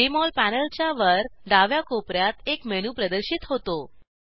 Jmol पॅनलच्या वर डाव्या कोपर्यात एक मेनू प्रदर्शित होतो